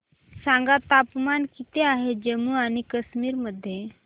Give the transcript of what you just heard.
सांगा तापमान किती आहे जम्मू आणि कश्मीर मध्ये